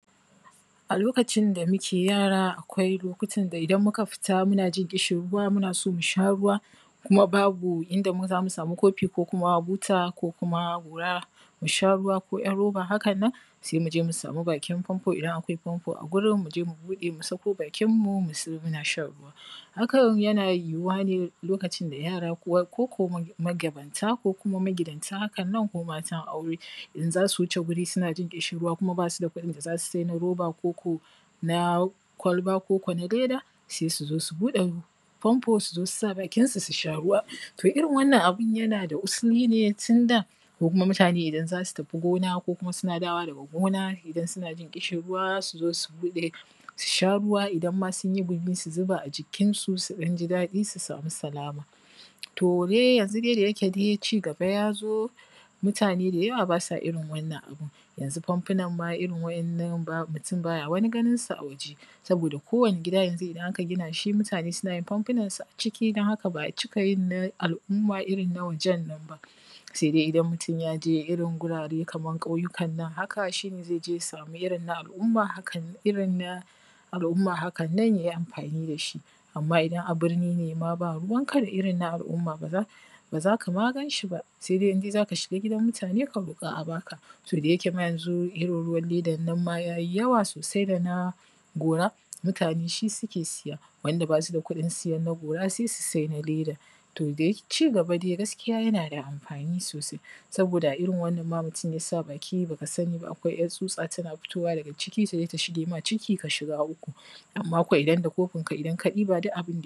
ˀa lokacin da muke yaara ˀakwai lokutan da ˀidan muka fita muna yin ƙishin ruwa muna so mu sha ruwa kuma babu ˀinda ma zamu samu kofi ko kuma buta ko kuma gora mu sha ruwa ko `yar roba hakan nan sai mu je mu samu bakin famfo ˀidan ˀakwai famfo ˀa gurin mu je mu buɗe mu saka bakin mu mu tsaya muna shan ruwa hakan yana yiwuwa ne lokacin da yara ko ko magabata ko kuma magidanta hakan nan, ko matan ˀaure ˀin za su wuce wuri suna jin ƙiishin ruwa kuma basu da kuɗin da za su sai na rooba ko ko na kwalba ko ko na leda sai su zo su buɗe famfo su zo su sa bakinsu su shaa ruwa to ˀirin wannan ˀabin yana da ˀusili ne tunda ko kuma mutane ˀidan za su tafi gona ko kuma suna dawowa daga goona ˀidan suna yin ƙishin ruwa sai su zo su buɗe su shaa ruwa ˀidan ma sunyi gurin su jiƙa jikinsu su ɗan ji daɗi su samu salama to dai yanzu dai da yake cigaba yazo mutane da yawa basa ˀirin wannan ˀabin, yanzu famfunan ma ˀirin wa`yannan ba mutum baya ma ganinsu ˀa waje saboda kowani gida yanzu ˀidan ˀaka gina shi mutane suna yin famfunansu ˀa ciki don haka ba ˀa cika yin na ˀal`ˀumma ˀirin na wajen nan ba sai dai ˀidan mutum yaje irin guraren kaman ƙauyukan nan haka shi ne zai yi ya samu ˀirin na ˀal`ˀumma ˀIrin na ˀal`ˀumma hakan nan jaji ˀamfani da shi ˀamma ˀidan ˀa birni ne ma ba ruuwan ka da ˀirin na ˀal`ˀumma ba zaka ma ganshi ba, sai dai ˀin zaka ʃiga gidan mutum ka rooƙa ˀa baka to da yake ma yanzu ˀirin ruwan ledan nan ma yanzu yayi yawa sosai dana gora mutane shi suke siya wanda basu da kuɗin siyan na gora sai su sai na leda to dai cigaba dai gaskiya yana da ˀamfani sosai saboda ˀa ˀirin wannan ma mutum zai sa baki baka sani ba ˀakwai `yar tsutsa tana fitowa daga ciki ta zo ta shige ma ciki ka shiga ˀuku ˀamma ko ˀidan da kofin ka ˀidan ka ɗiba duk ˀabin